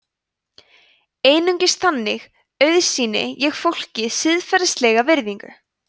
einungis þannig auðsýni ég fólki siðferðilega virðingu